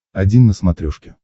один на смотрешке